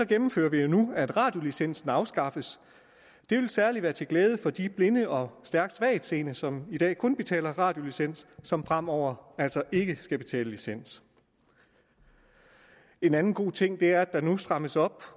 gennemfører vi nu at radiolicensen afskaffes det vil særlig være til glæde for de blinde og stærkt svagtseende som i dag kun betaler radiolicens som fremover altså ikke skal betale licens en anden god ting er at der nu strammes op